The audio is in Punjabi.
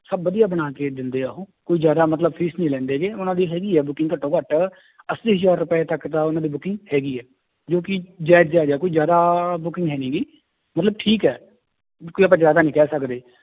ਸਭ ਵਧੀਆ ਬਣਾ ਕੇ ਦਿੰਦੇ ਆ ਉਹ ਕੁੱਝ ਜ਼ਿਆਦਾ ਮਤਲਬ fees ਨੀ ਲੈਂਦੇ ਗੇ ਉਹਨਾਂ ਦੀ ਹੈਗੀ ਹੈ booking ਘੱਟੋ ਘੱਟ ਅੱਸੀ ਹਜ਼ਾਰ ਰੁਪਏ ਤੱਕ ਤਾਂ ਉਹਨਾਂ ਦੀ booking ਹੈਗੀ ਹੈ ਜੋ ਕਿ ਜਾਇਜ਼ ਜਾਇਜ਼ ਹੈ ਕੋਈ ਜ਼ਿਆਦਾ booking ਹੈ ਨੀ ਗੀ, ਮਤਲਬ ਠੀਕ ਹੈ ਕੋਈ ਆਪਾਂ ਜ਼ਿਆਦਾ ਨੀ ਕਹਿ ਸਕਦੇ